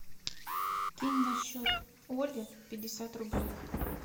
кинь на счет оли пятьдесят рублей